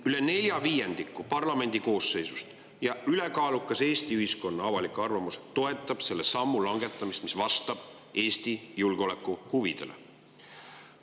Üle nelja viiendiku parlamendi koosseisust ja ülekaalukas Eesti ühiskonna avalik arvamus toetab selle sammu langetamist, mis vastab Eesti julgeolekuhuvidele.